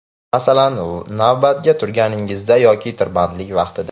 Masalan, navbatga turganingizda yoki tirbandlik vaqtida.